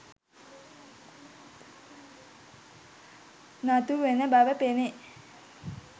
නතුවන බව පෙනේ.